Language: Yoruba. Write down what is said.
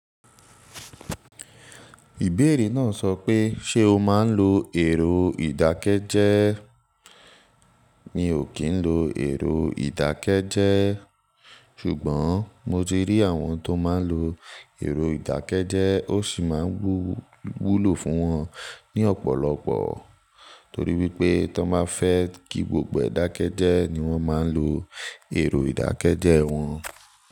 Ìbéèrè náà sọ pé, ṣe o máa ń lo èrò ìdákẹ́jẹ́ẹ́? Mi ò kí ń lo èrò ìdákẹ́jẹ́ẹ́. Ṣùgbọ́n mo ti rí àwọn tó máa ń lo èrò ìdákẹ́jẹ́ẹ́ ó sì máa ń wúwù wúlò fún wọn ní ọ̀pọ̀lọpọ̀. Torí wípé ti wón bá fẹ́ kí gbogbo ẹ̀ dá kẹ́jẹ́ẹ́ ni wọ́n máa ń lo èrò ìdákẹ́jẹ́ẹ́ wọn.